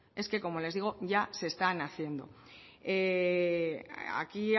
es que como les digo ya se están haciendo aquí